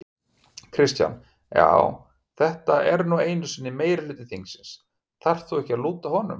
Kristján: Já þetta er nú einu sinni meirihluti þingsins, þarft þú ekki að lúta honum?